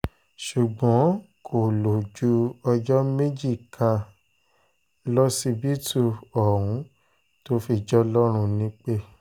ṣùgbọ́n kò lò ju ọjọ́ méjì kan lọ lọsibítù ohun tó fi jọlọ́run nípẹ́